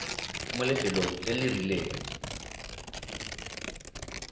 mo lefelong le le rileng